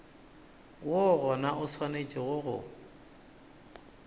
woo gona o swanetše go